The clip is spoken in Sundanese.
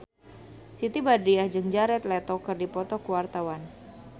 Siti Badriah jeung Jared Leto keur dipoto ku wartawan